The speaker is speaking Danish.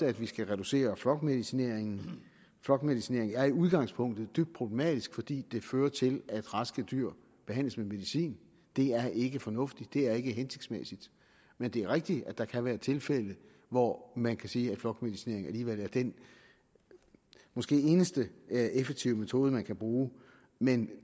at vi skal reducere flokmedicineringen flokmedicinering er i udgangspunktet dybt problematisk fordi den fører til at raske dyr behandles med medicin det er ikke fornuftigt det er ikke hensigtsmæssigt men det er rigtigt at der kan være tilfælde hvor man kan sige at flokmedicinering alligevel er den måske eneste effektive metode man kan bruge men